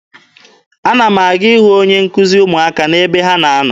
Ana m aga ịhụ onye nkuzi ụmụaka m n'ebe ha na-anọ.